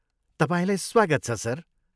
तपाईँलाई स्वागत छ, सर।